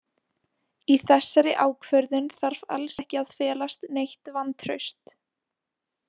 Í þessari ákvörðun þarf alls ekki að felast neitt vantraust.